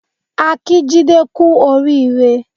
A kí Jide kú oríire